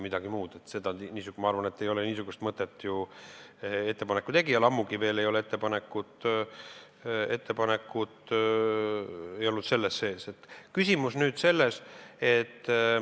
Ma arvan, et niisugust mõtet ei ole ettepaneku tegijal, ammugi ei olnud seda ettepanekut siin sees.